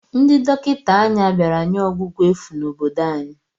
Ndị dọkịta anya bịara nye ọgwụgwọ efu n'obodo anyị.